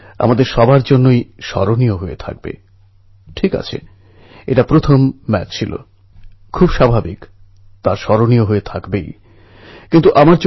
ওরা যখন গুহার ভিতরে অনেকটা ঢুকে গেছে তখন হঠাৎ প্রচুর বৃষ্টির কারণে গুহার মুখে প্রচুর জল জমে যায়